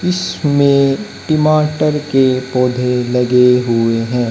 इसमें में टमाटर के पौधे लगे हुए हैं।